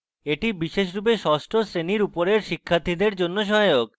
এটি বিশেষরূপে ষষ্ঠ শ্রেণীর উপরের শিক্ষার্থীদের জন্য সহায়ক